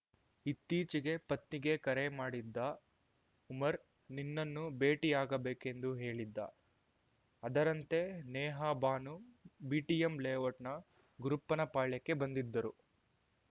ಇತ್ತೀಚೆಗೆ ಪತ್ನಿಗೆ ಕರೆ ಮಾಡಿದ್ದ ಉಮರ್‌ ನಿನ್ನನ್ನು ಭೇಟಿಯಾಗಬೇಕೆಂದು ಹೇಳಿದ್ದ ಅದರಂತೆ ನೇಹಾಬಾನು ಬಿಟಿಎಂ ಲೇಔಟ್‌ನ ಗುರುಪ್ಪನಪಾಳ್ಯಕ್ಕೆ ಬಂದಿದ್ದರು